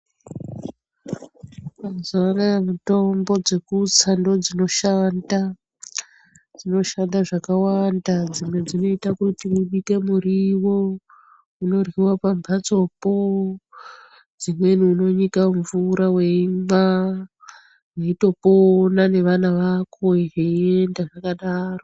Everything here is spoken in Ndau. Mazuwa anaa mitombo dzekutsa ndidzo dzinoshanda, dzinoshanda zvakawanda. Dzimwe dzinoite kuti mubike muriwo inoryiwa pamphatsopo, dzimweni unonyika mumvura weimwa, mweitopona nevana vako zveienda zvakadaro.